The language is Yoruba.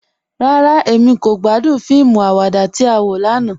Rárá, Emí kò gbàdún fíìmù àwàdà tí á wọ lànà.